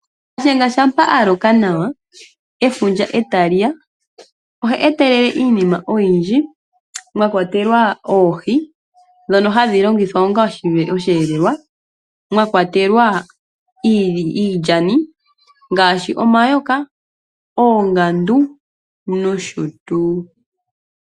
Shiyenga shampa a loka nawa, efundja e tali ya, oha etelele iinima oyindji, mwa kwatelwa oohi ndhono hadhi longithwa onga osheelelwa, mwa kwatelwa iilyani ngaashi omayoka, oongandu nosho tuu.